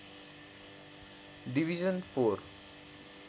division four